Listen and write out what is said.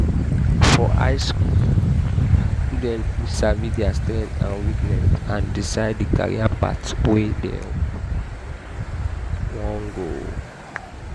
from high school students fit sabi their strength and weaknesses and decide the career path wey dem go follow